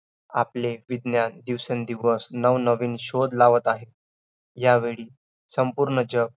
आपण Molecule Acid हे शब्द आपण शाळेपासूनच शिकतो.